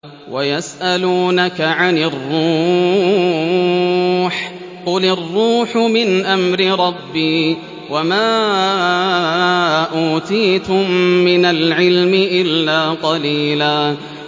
وَيَسْأَلُونَكَ عَنِ الرُّوحِ ۖ قُلِ الرُّوحُ مِنْ أَمْرِ رَبِّي وَمَا أُوتِيتُم مِّنَ الْعِلْمِ إِلَّا قَلِيلًا